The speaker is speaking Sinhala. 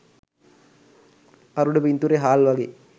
අර උඩ පින්තූරය හාල් වගේ